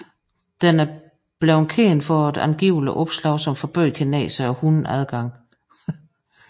Den er blevet kendt for et angivelig opslag som forbød kinesere og hunde adgang